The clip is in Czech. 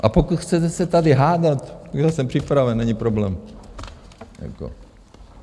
A pokud chcete se tady hádat, já jsem připraven, není problém.